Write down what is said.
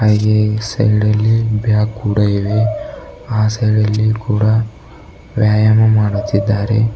ಹಾಗೆ ಸೈಡ ಲ್ಲಿ ಬ್ಯಾಗ್ ಕೂಡ ಇವೆ ಆ ಸೈಡ ಲ್ಲಿ ಕೂಡ ವ್ಯಾಯಾಮ ಮಾಡುತ್ತಿದ್ದಾರೆ.